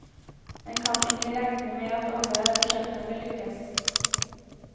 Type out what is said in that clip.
En kan ikke regne med at alle prosjektene vil lykkes.